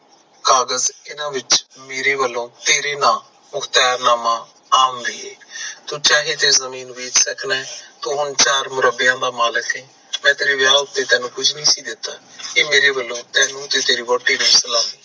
ਕਾਕਜ ਏਨਾ ਵਿਚ ਮੇਰੇ ਵਲੋਂ ਤੇਰੇ ਨਾ ਮੁਹਕਤੀਯਰਨਾਮਾ ਆਮ ਨਹੀਂ ਏ ਸੋ ਚਾਹੇ ਏ ਜਮੀਨ ਵੇਚ ਸੱਕਦਾ ਤੋਂ ਹੋਣ ਚਾਰ ਮੁਰੱਬਿਆਂ ਦਾ ਮਾਲਿਕ ਯੇਨ ਮੈਂ ਤੇਰੇ ਵਿਆਹ ਉਤੇ ਕੁਸ਼ ਨਹੀ ਸੀ ਦਿਤਾ ਇਹ ਮੇਰੇ ਵਲੋਂ ਤੈਨੂੰ ਤੇ ਤੇਰੀ ਵੋਹਟੀ ਨੂੰ